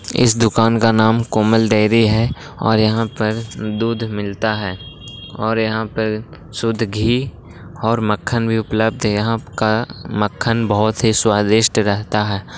इस दुकान का नाम कोमल डेयरी है और यहाँ पे दूध मिलता है और यहाँ पे शुद्ध घी और मक्खन भी उपलब्ध है| यहाँ का मक्खन बहुत ही स्वादिष्ट रहता है।